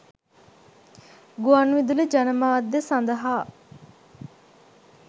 ගුවන් විදුලි ජනමාධ්‍ය සඳහා